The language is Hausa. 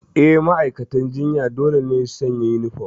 Eh, ma'aikatan jinya dole ne su sanya uniform.